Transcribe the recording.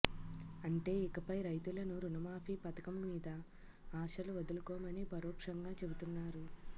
అంటే ఇకపై రైతులను రుణమాఫీ పథకం మీద ఆశలు వదులుకోమని పరోక్షంగా చెబుతున్నారు